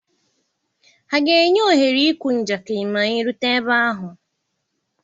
Ha ga-enye ohere ịkụ njakịrị ma anyị erute ebe ahụ?